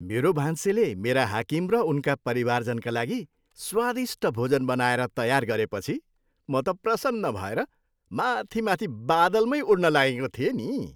मेरो भान्सेले मेरा हाकिम र उनका परिजनका लागि स्वादिष्ट भोजन बनाएर तयार गरेपछि म त प्रसन्न भएर माथि माथि बादलमै उड्न लागेको थिएँ नि।